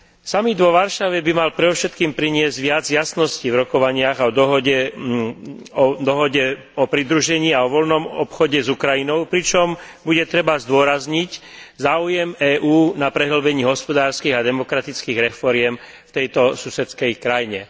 Samit vo Varšave by mal predovšetkým priniesť viac jasností v rokovaniach o dohode o pridružení a voľnom obchode s Ukrajinou, pričom bude treba zdôrazniť záujem EÚ na prehĺbení hospodárskych a demokratických reforiem v tejto susedskej krajine.